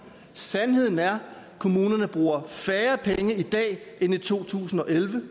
sandheden er at kommunerne bruger færre penge i dag end i to tusind og elleve